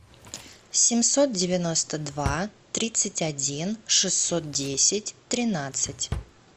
семьсот девяносто два тридцать один шестьсот десять тринадцать